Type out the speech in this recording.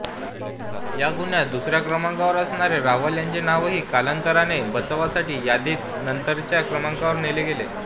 या गुन्ह्यात दुसऱ्या क्रमांकावर असणारे रावल यांचे नावही कालांतराने बचावासाठी यादीत नंतरच्या क्रमांकावर नेले गेले